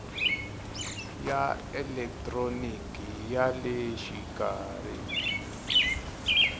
ya elekitroniki ya le xikarhi